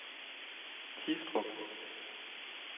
Tistrup